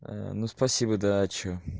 ну спасибо да а что